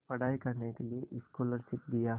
पढ़ाई करने के लिए स्कॉलरशिप दिया